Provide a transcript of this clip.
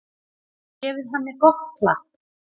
Gefið henni gott klapp.